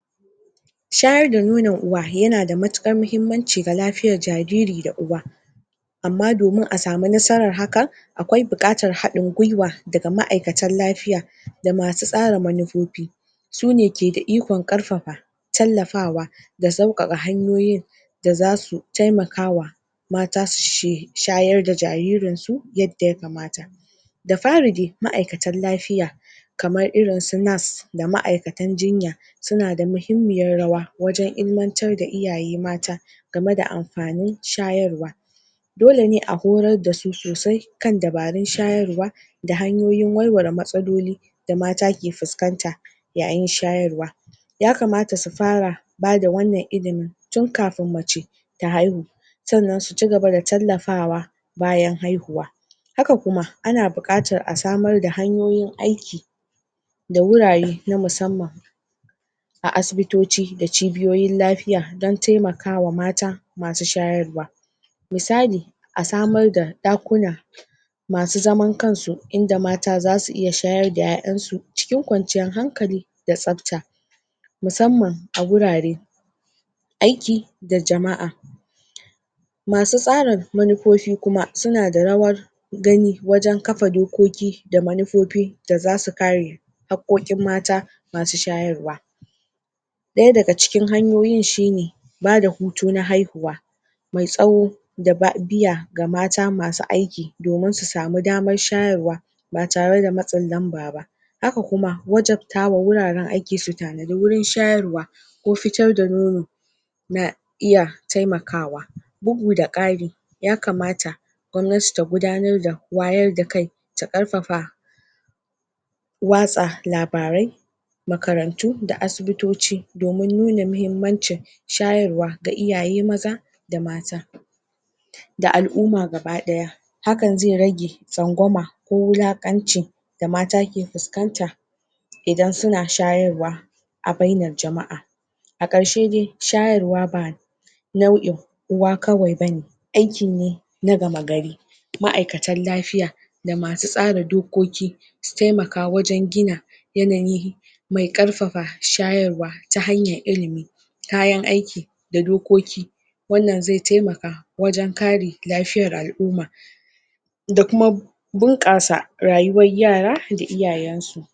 shayar da nonon uwa yana da matukar mahimmanci ga lafiyar jariri da uwa amma domin a samu nasarar hakan aƙwai buƙatar haɗin gwiwa daga ma'aikatan lafiya da masu tsara manufufi sune ke da ikon ƙarfafa tallafawa da sauƙaƙa hanyoyin da zasu taimakawa mata su sai shayar da jaririnsu yadda ya kamata da fari dai ma'aikatan lafiya kamar irinsu nurse da ma'aikatan jinya suna da muhimmiyar rawa wajan ilmantar da iyaye mata game da amfanin shayarwa dole ne a horar dasu sosai kan dabarun shayarwa da hanyoyin warware matsaloli da mata ke fuskanta yayin shayarwa ya kamata su fara bada wannan ilimi tukafin mace ta haihu sannan su cigaba da tallafawa bayan haihuwa haka kuma ana buƙatar a samar da hanyoyin aiki da wurare na musamman a asbitoci da cibiyoyin lafiya dan taimakawa mata masu shayarwa misali a samar da ɗakuna masu zaman kansu inda mata zasu iya shayar da ƴa'ƴansu cikin kwanciyar hankali da tsafta musamman a gurare aiki da jama'a masu tsarin manufufi kuma suna da rawar gani wajan kafa dokoki da manufufi da zasu kare hakkokin mata masu shayarwa ɗaya daga ciki hanyoyin shine bada hutu na haihuwa mai tsawo da biya ga mata masu aiki domin su samu damar shayarwa ba tare da matsin lanba ba aka kuma wajabtawa wuraran aiki su tanadi wurin shayarwa ko fitar da nono na iya taimakawa bugu da ƙari ya kamata gwamnati ta gudanar da wayar da kai ta ƙarfafa watsa labarai makarantu da asibitoci domin nuna mahimmancin shayarwa ga iyaye maza da mata da al'umma gaba ɗaya hakan zai rage tsangwama ko wulakaci da mata ke fuskanta idan suna shayarwa a bainar jama'a a ƙarshe dai shayarwa ba nau'in uwa kawai bane aiki ne na gama gari ma'aikatan lafiya da masu tsara dokoki su taimaka wajan gina yanayin mai ƙarfafa shayarwa ta hanyar ilimi kayan aiki da dokoki wannan zai taimaka wajan kare lafiyar al'umma da kuma bunƙasa rayuwar yara da iyayansu